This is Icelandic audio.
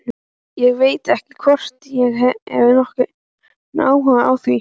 Ég veit ekki hvort ég hef nokkurn áhuga á því.